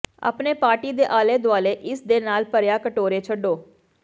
ਆਪਣੇ ਪਾਰਟੀ ਦੇ ਆਲੇ ਦੁਆਲੇ ਇਸ ਦੇ ਨਾਲ ਭਰਿਆ ਕਟੋਰੇ ਛੱਡੋ